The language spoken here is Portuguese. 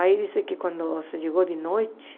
Aí, disse que quando chegou de noite